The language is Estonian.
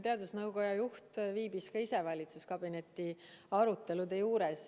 Teadusnõukoja juht viibis ka ise valitsuskabineti arutelude juures.